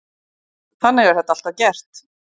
Þannig er þetta alltaf gert.